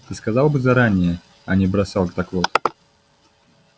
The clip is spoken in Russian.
ты сказал бы заранее а не бросал так вот